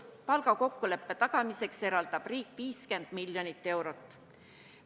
Palgakokkuleppe tagamiseks eraldab riik 50 miljonit eurot.